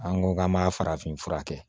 An ko k'an b'a farafin fura kɛ